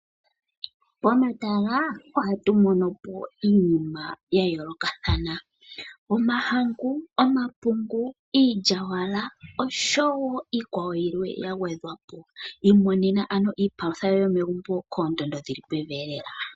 Pomatala ohatu mono po iinima ya yoolokathana ngaashi, omahangu, omapungu, iilyawala osho wo iikwawo yilwe ya gwedhwa po. Imonena ano iipalutha yoye yomegumbo koondando dhi li pevi elela.